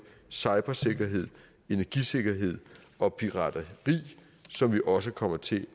cybersikkerhed energisikkerhed og pirateri som vi også kommer til